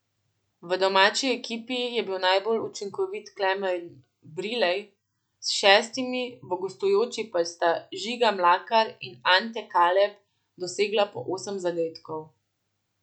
V domači ekipi je bil najbolj učinkovit Klemen Brilej s šestimi, v gostujoči pa sta Žiga Mlakar in Ante Kaleb dosegla po osem zadetkov.